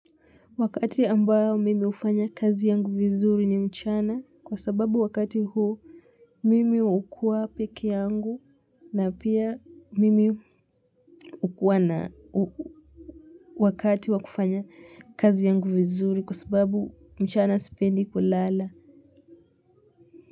Wakati ambayo mimi ufanya kazi yangu vizuri ni mchana kwa sababu wakati huu mimi ukuwa peke yangu na pia mimi ukuwa na wakati wakufanya kazi yangu vizuri kwa sababu mchana sipendi kulala.